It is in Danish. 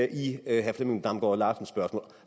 i herre flemming damgaard larsens spørgsmål